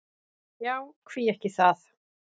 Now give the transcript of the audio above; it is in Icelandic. Já, hví ekki það?